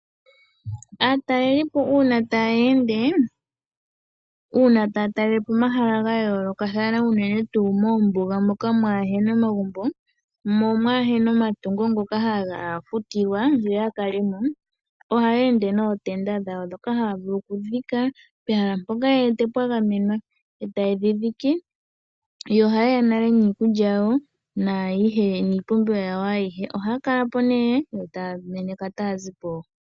Aatalelipo uuna taya ende, uuna taya talelepo omahala ga yoolokathana unene tuu moombuga moka kamuna omagumbo, mo kamuna omatungo ngoka haga futilwa yo ya kalemo ohaya ende nootenda dhawo ndhoka haya vulu okudhika pehala mpoka ye wete pwa gamenwa eta yedhi dhike. Oha yeya nale niikulya yawo niipumbiwa yawo ayihe. oha ya kalapo nee yo taya meneka tayazipo.